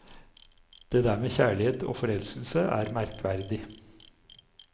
Det der med kjærlighet og forelskelse er merkverdig.